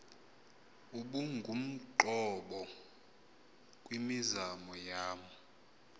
ubungumqobo kwimizamo yam